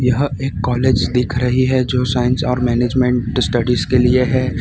यह एक कॉलेज दिख रही है जो साइंस और मैनेजमेंट स्टडीज के लिए है।